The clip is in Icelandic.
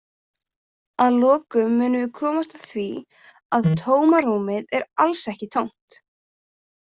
Að lokum munum við komast að því að tómarúmið er alls ekki tómt!